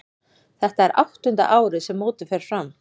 Þetta er áttunda árið sem mótið fer fram.